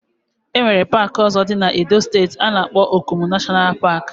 Enwere park ozo di na Edo steeti ana akpo Okomu National Park.